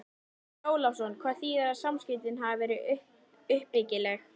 Andri Ólafsson: Hvað þýðir að samskiptin hafi verið uppbyggileg?